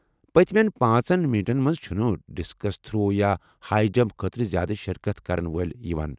پٔتمیٚن پانژن میٹن منٛز چُھنہٕ ڈِسکس تھرو یا ہاے جمپ خٲطرٕ زیٛادٕ شرکت کرن وٲلۍ یوان ۔